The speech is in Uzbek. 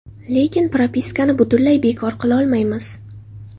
Lekin propiskani butunlay bekor qilolmaymiz.